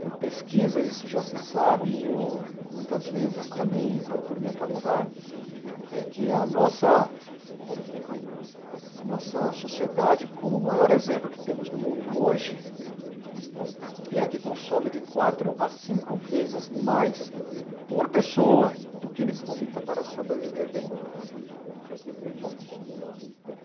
Por pesquisas, isso já se sabe, e eu muitas vezes também procuro me atualizar, é que a nossa a nossa sociedade, como o maior exemplo que temos no mundo hoje, é a que consome de quatro a cinco vezes mais por pessoa do que necessita para sobreviver bem.